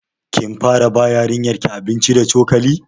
Kin fara ba yarinyar ki abinci da cokali?